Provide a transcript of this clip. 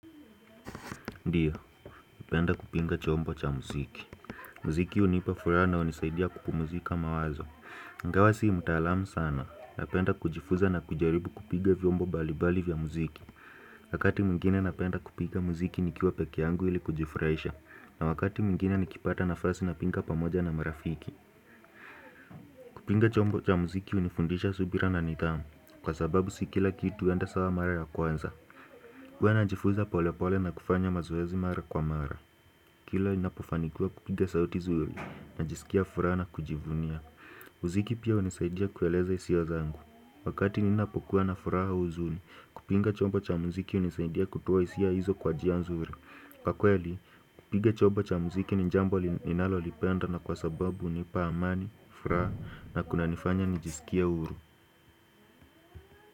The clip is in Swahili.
Ndiyo, upenda kupinga chombo cha muziki. Mziki unipa furaha na unisaidia kupumuzika mawazo. Ingawa si mtaalamu sana Napenda kujifuza na kujaribu kupiga vyombo bali bali vya muziki. Wakati mwingine napenda kupiga muziki nikiwa peke yangu ili kujifuraisha. Na wakati mwingine nikipata nafasi napinga pamoja na marafiki. Kupinga chombo cha muziki unifundisha subira na nidhamu. Kwa sababu si kila kitu huenda sawa mara ya kwanza. Huwa najifuza pole pole na kufanya mazoezi mara kwa mara. Kila inapofanikiwa kupiga sauti zuri najisikia furaha na kujivunia. Muziki pia unisaidia kueleza hisia zangu Wakati ninapokuwa na furaha au huzuni kupinga chombo cha muziki unisaidia kutoa hisia hizo kwa jia nzuri Kwa kweli kupiga chobo cha muziki ni jambo ninalo lipenda na kwa sababu unipa amani, furaha na kuna nifanya nijisikie huru.